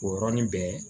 O yɔrɔnin bɛɛ